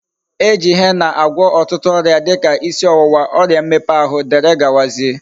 E ji henna agwo otutu oria dika isi owuwa, oria mmepe ahu wdgz.